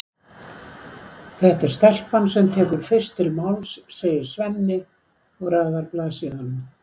Það er stelpan sem tekur fyrst til máls, segir Svenni og raðar blaðsíðunum.